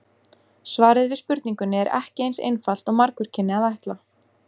Svarið við spurningunni er ekki eins einfalt og margur kynni að ætla.